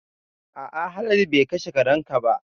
A'a Haladu be kashe karen ka ba